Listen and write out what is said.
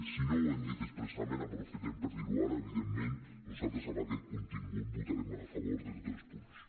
si no ho hem dit expressament aprofitem per dir ho ara evidentment nosaltres amb aquest contingut votarem a favor de tots els punts